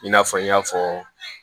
I n'a fɔ n y'a fɔ